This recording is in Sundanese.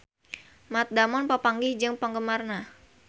Matt Damon papanggih jeung penggemarna